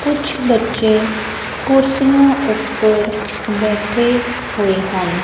ਕੁਝ ਬੱਚੇ ਕੁਰਸੀਆਂ ਉੱਪਰ ਬੈਠੇ ਹੋਏ ਹਨ।